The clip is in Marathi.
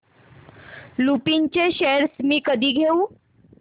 लुपिन चे शेअर्स मी कधी घेऊ